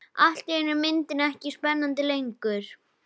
Allt í einu er myndin ekki spennandi lengur.